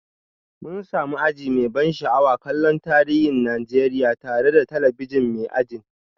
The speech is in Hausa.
Mun sami aji mai ban sha'awa kallon tarihin Najeriya tare da talabijin mai ajin